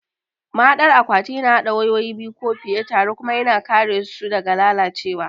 Mahaɗar akwatu yana haɗa wayoyi biyu ko fiye tare kuma yana kare su daga lalacewa.